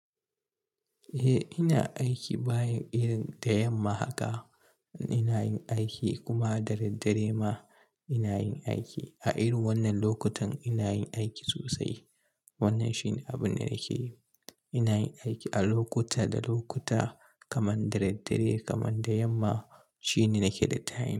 Eh ina aiki bayan irin da yamma haka ina yin aiki kuma dare dare ma ina yin aiki a irin wannan lokutan ina yin aiki sosai. Wannan shine abin da nake yi. Ina yin aiki a lokuta da lokuta kaman dare dare kaman da yamma shine nake da tayin.